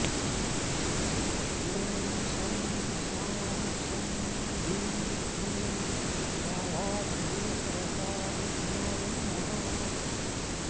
ॐ शं शां षं ह्रीं क्लीं गाढाश्लेषरसाभिज्ञाय नमः